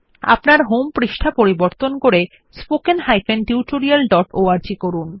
আপনার হোম পৃষ্ঠা পরিবর্তন করে spoken tutorialঅর্গ করুন